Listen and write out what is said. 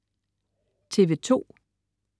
TV2: